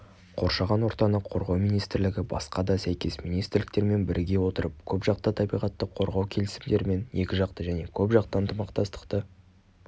қоршаған ортаны қорғау министрлігі басқа да сәйкес министрліктермен біріге отырып көпжақты табиғатты қорғау келісімдері мен екіжақты және көпжақты ынтымақтастықты